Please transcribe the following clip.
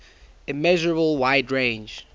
immeasurable wide range